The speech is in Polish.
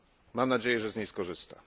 Mam nadzieję, że z niej skorzysta.